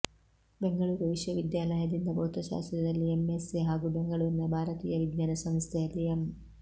ಬೆಂಗಳೂರು ವಿಶ್ವವಿದ್ಯಾಲಯದಿಂದ ಭೌತಶಾಸ್ತ್ರದಲ್ಲಿ ಎಂಎಸ್ಸಿ ಹಾಗೂ ಬೆಂಗಳೂರಿನ ಭಾರತೀಯ ವಿಜ್ಞಾನ ಸಂಸ್ಥೆಯಲ್ಲಿ ಎಂ